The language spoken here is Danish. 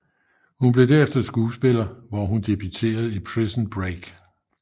Hun blev derefter skuespiller hvor hun debuterede i Prison Break